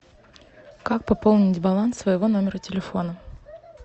как пополнить баланс своего номера телефона